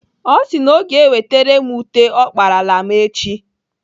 Ọ sị na ọ ga-ewetere m ute ọ kparala m echi.